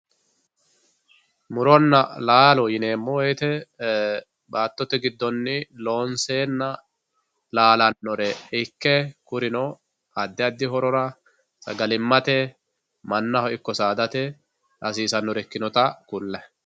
Muronna laallo yineemo woyite baatote gidonni loonsenna laallanore ikke kurino adi adi hororra sagalimatte manaho ikko saadate hasisanore ikkinotta kulayi